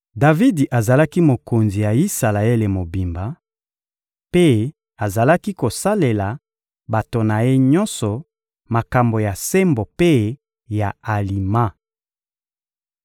Davidi azalaki mokonzi ya Isalaele mobimba, mpe azalaki kosalela bato na ye nyonso makambo ya sembo mpe ya alima.